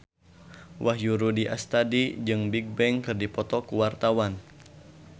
Wahyu Rudi Astadi jeung Bigbang keur dipoto ku wartawan